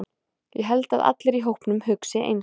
Ég held að allir í hópnum hugsi eins.